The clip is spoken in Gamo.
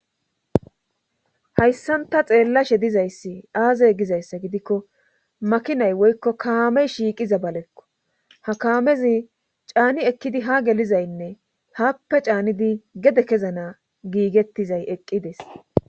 Hayssanta xeellashe dizayssi aazey gizayssa gidikko makinay woykko kaamey shiiqiza balekko ha kaamezi caani ekkidi ha gelizaynne haappe caanidi gede kezana giigettizay eqqides